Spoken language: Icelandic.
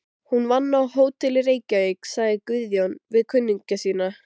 Hún vann á Hótel Reykjavík, sagði Guðjón við kunningja sína.